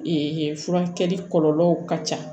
furakɛli kɔlɔlɔw ka ca